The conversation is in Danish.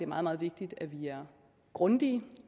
meget meget vigtigt at vi er grundige